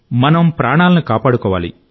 మనం ప్రాణాలను కాపాడుకోవాలి